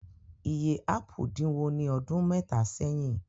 Iye ápù dínwó ní ọdún mẹ́ta sẹ́yìn.